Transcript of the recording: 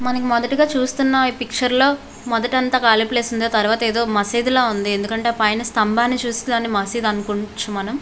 మనము మోదితిగా చుస్తునము. ఇ పిచేర్ మనకు కాళీ ప్లేస్ గ ఉనాది. అండ్ పక్కన వక మాజిద్ కూడా ఉనాది. అండ్ అధము జి ఆంది.